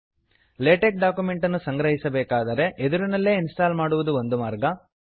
LaTeX ಡಾಕ್ಯುಮೆಂಟನ್ನು ಸಂಗ್ರಹಿಸಬೇಕಾದರೆ ಎದುರಿನಲ್ಲೇ ಇನ್ಸ್ಟಾಲ್ ಮಾಡುವುದು ಒಂದು ಮಾರ್ಗ